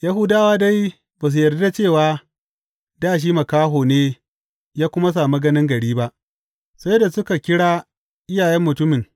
Yahudawa dai ba su yarda cewa dā shi makaho ne ya kuma sami ganin gari ba, sai da suka kira iyayen mutumin.